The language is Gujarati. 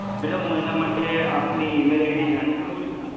મેડમ હું એના માટે આપનું ઇમેલ આઈડી જાણી શકું છુ